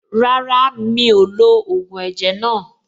Rárá, mi ò lo ògùn ẹ̀jẹ̀ náà.